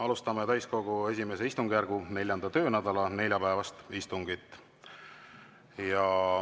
Alustame täiskogu I istungjärgu 4. töönädala neljapäevast istungit.